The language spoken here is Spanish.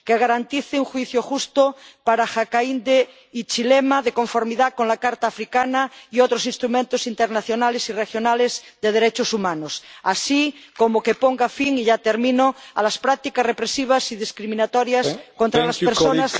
que garantice un juicio justo para Hakainde Hichilema de conformidad con la Carta Africana y otros instrumentos internacionales y regionales de derechos humanos, así como que ponga fin a las prácticas represivas y discriminatorias contra las personas